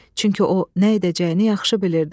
Çünki o nə edəcəyini yaxşı bilirdi.